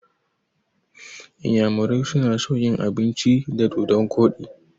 Inyamurai na son yin abinci da dodon koɗi